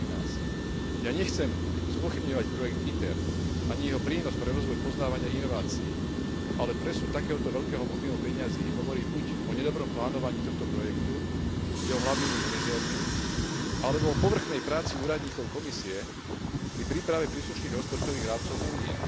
2013. Ja nechcem spochybňovať projekt ITER, ani jeho prínos pre rozvoj poznávania inovácií, ale presun takéhoto veľkého objemu peňazí hovorí buď o nedobrom plánovaní tohto projektu jeho hlavnými manažérmi, alebo o povrchnej práci úradníkov Komisie pri príprave príslušných rozpočtových rámcov Únie.